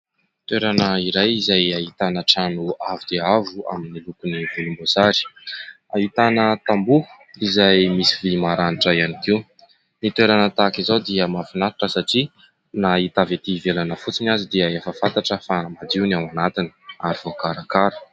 Toerana iray izay ahitana toerana izay ahitana trano avo dia avo dia avo amin'ny lokony volomboasary. Ahitana tamboho izay misy vỳ maranitra ihany koa. Ny toerana tahaka izao dia mahafinaritra satria na hita avy etỳ ivelany fotsiny aza dia efa fantatra fa madio ny ao anatiny ary voakarakara.